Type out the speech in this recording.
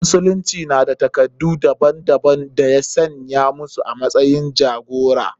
Musulmai na da takardu daban daban da ya saya musu a matsayin jagora.